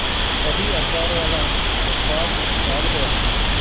तभी अखबारवाला अखबार डाल गया